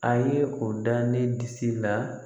A ye o da ne disi la